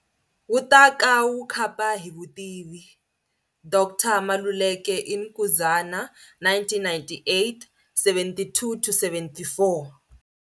Wu ta ka wu khapa hi vutivi.-D.R. Maluleke in Nkuzana, 1989-72-74,